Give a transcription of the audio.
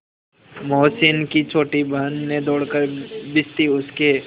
मोहसिन की छोटी बहन ने दौड़कर भिश्ती उसके